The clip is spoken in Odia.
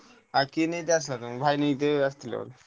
ଆଉ କି ନିଦ ଆସିଲା ତମକୁ